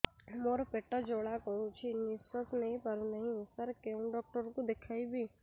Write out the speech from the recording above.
ମୋର ପେଟ ଜ୍ୱାଳା କରୁଛି ନିଶ୍ୱାସ ନେଇ ପାରୁନାହିଁ ସାର କେଉଁ ଡକ୍ଟର କୁ ଦେଖାଇବି